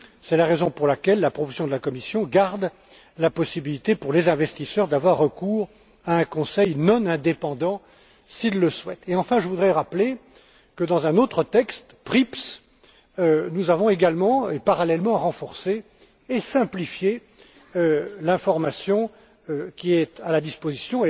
C'est la raison pour laquelle la proposition de la Commission garde la possibilité pour les investisseurs d'avoir recours à un conseil non indépendant s'ils le souhaitent. Et, enfin, je voudrais rappeler que dans un autre texte, PRIPs, nous avons également et parallèlement renforcé et simplifié l'information qui est à la disposition